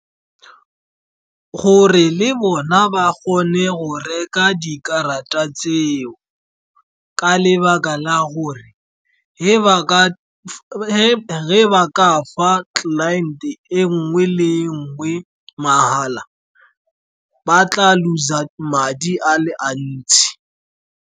Gore le bona ba kgone go reka dikarata tseo, ka lebaka la gore ge ba ka ba ka fa client-e e nngwe le nngwe mahala ba tla lose-a madi a le a ntsi.